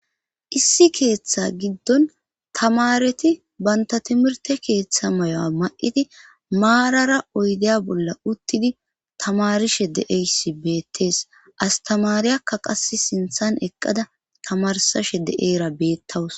Issi keeththa giddon tamareti banta timirte keeththa mayo'a ma'iti maarara oydeya bolla uttidi tamarishe de'eysi beettees astamariyakka qas sinthan eqqada tamarsashe de'eyra beettawus.